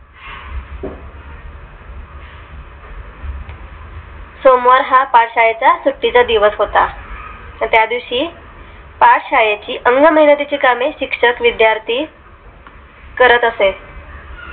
सोमवार हा पाठशाळेचा च्या सुट्टी चा दिवस होता त्या दिवशी तर त्यादिवशी पाठशाळेची अंगमेहनती ची कामे, शिक्षक, विद्यार्थी करत असे